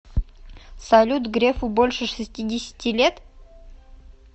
салют грефу больше шестидесяти лет